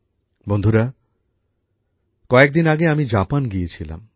বন্ধুরা কয়েকদিন আগে আমি জাপান গিয়েছিলাম